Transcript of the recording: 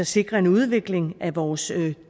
sikrer en udvikling af vores